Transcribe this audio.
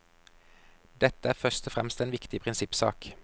Dette er først og fremst en viktig prinsippsak.